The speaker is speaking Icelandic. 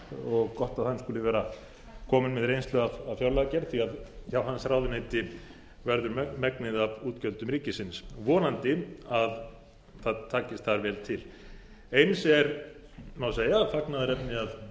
og gott að hann skuli vera kominn með reynslu af hans fjárlagagerð því að hjá hans ráðuneyti verður megnið af útgjöldum ríkisins vonandi að þar takist vel til eins er má segja fagnaðarefni að